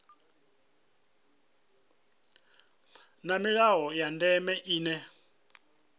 na milayo ya ndeme ine